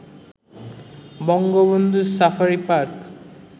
Bangabandhu safari park